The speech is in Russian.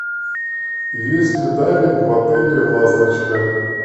есть ли дайвинг в отеле ласточка